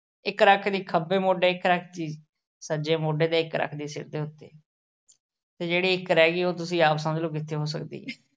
ਇੱਕ ਰੱਖਲੀ ਖੱਬੇ ਮੋਢੇ, ਇੱਕ ਰੱਖਲੀ ਸੱਜੇ ਮੋਢੇ 'ਤੇ ਇੱਕ ਰੱਖਲੀ ਸਿਰ ਦੇ ਉੱਤੇ ਤੇ ਜਿਹੜੀ ਇੱਕ ਰਹਿ ਗਈ ਉਹ ਤੁਸੀਂ ਆਪ ਸਮਝ ਲੋ ਕਿੱਥੇ ਹੋ ਸਕਦੀ ਐ